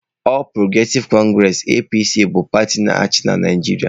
All progressive congress(APC) bụ pati na-achị na Naijiria.